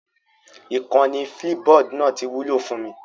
Ìkànnì Flipboard náà ti wúlò fún mi